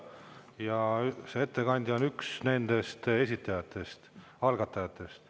Ja ettekandja on üks nendest esitajatest, algatajatest.